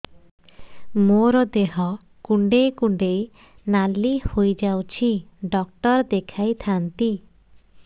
ମୋର ଦେହ କୁଣ୍ଡେଇ କୁଣ୍ଡେଇ ନାଲି ହୋଇଯାଉଛି ଡକ୍ଟର ଦେଖାଇ ଥାଆନ୍ତି